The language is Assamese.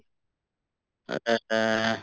অ অ